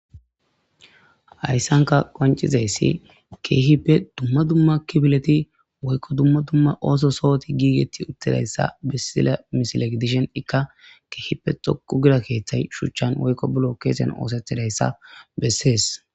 Hayssanka qoncizayssi keehippe dumma dumma kifileti woykko dumma dumma ooso sohoti giigetti uttidayssa bissila misileg dishen ikka keehipe xoku gira keeththay shuchchan woykko bulo keesen oosetidayssa bessees.